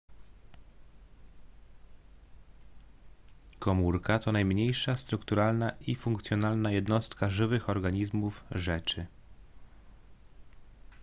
komórka to najmniejsza strukturalna i funkcjonalna jednostka żywych organizmów rzeczy